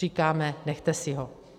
Říkáme, nechte si ho.